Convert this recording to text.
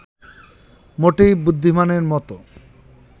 মোটেই বুদ্ধিমানের মতো